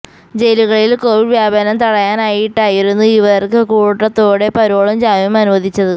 ജയിലുകളില് Covid വ്യാപനം തടയാനായിട്ടായിരുന്നു ഇവര്ക്ക് കൂട്ടത്തോടെ പരോളും ജാമ്യവും അനുവദിച്ചത്